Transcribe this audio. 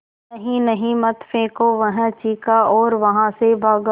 नहीं नहीं मत फेंको वह चीखा और वहाँ से भागा